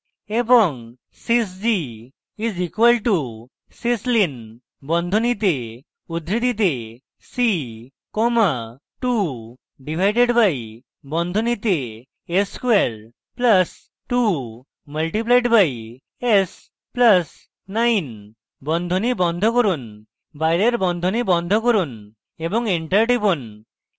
sys g is equal two syslin বন্ধনীতে উদ্ধৃতিতে c comma 2 divided by বন্ধনীতে s square plus 2 multiplied by s plus 9 বন্ধনী বন্ধ করুন বাইরের বন্ধনী বন্ধ করুন এবং enter টিপুন